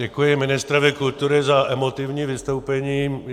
Děkuji ministrovi kultury za emotivní vystoupení.